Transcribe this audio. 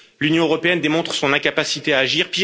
L'Union européenne démontre son incapacité à agir